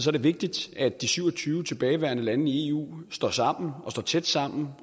er det vigtigt at de syv og tyve tilbageværende lande i eu står sammen og står tæt sammen